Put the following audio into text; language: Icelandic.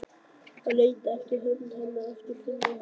Hann leitar eftir hönd hennar aftur og finnur hana.